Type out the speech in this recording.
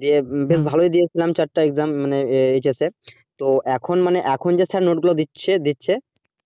দিয়ে বেশ ভালই দিয়েছিলাম চারটে exam মানে HS এ তো এখন মানে খন যা note গুলো দিচ্ছে দিচ্ছে